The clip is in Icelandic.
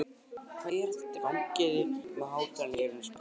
Hvað er þetta, gangið þið um með hátalara í eyrunum? spurði hann snúðugt.